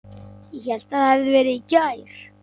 Ég hélt það hefði verið í gær.